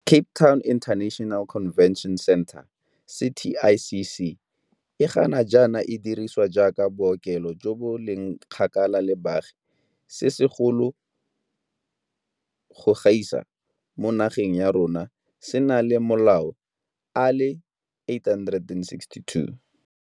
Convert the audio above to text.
Cape Town International Convention Centre, CTICC, e ga jaana e dirisiwang jaaka bookelo jo bo leng kgakala le baagi se segolo go gaisa mo nageng ya rona se na le malao a le 862.